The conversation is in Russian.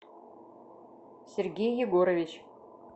сергей егорович